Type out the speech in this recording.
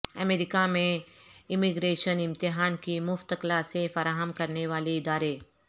امریکہ میں امیگریشن امتحان کی مفت کلاسیں فراہم کرنے والے ادارے